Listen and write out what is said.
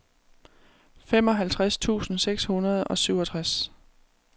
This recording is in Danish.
femoghalvtreds tusind seks hundrede og syvogtres